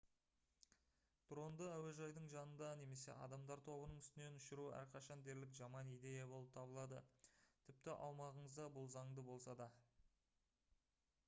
дронды әуежайдың жанында немесе адамдар тобының үстінен ұшыру әрқашан дерлік жаман идея болып табылады тіпті аумағыңызда бұл заңды болса да